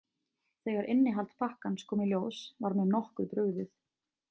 Þegar innihald pakkans kom í ljós var mér nokkuð brugðið.